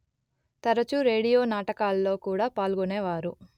తరచూ రేడియో నాటకాల్లో కూడా పాల్గొనేవారు